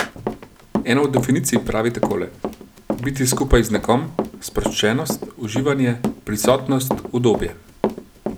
Ena od definicij pravi takole: 'Biti skupaj z nekom, sproščenost, uživanje, prisotnost, udobje.